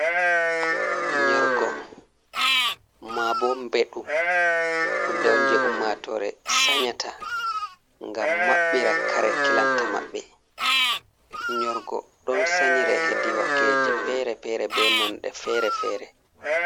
Nyorgo maa boo mbeɗu, huunde on jay ummaatoore sanyata ngam maɓɓira kare kilanta maɓɓe. Nyorgo ɗon sanyire hedi wakeje feere-feere bee nonɗe feere-feere.